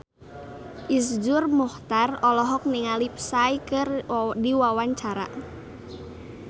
Iszur Muchtar olohok ningali Psy keur diwawancara